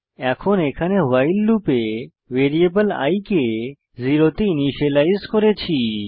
এখন এখানে ভাইল লুপে ভ্যারিয়েবল i কে 0 তে ইনিসিয়েলাইজ করেছি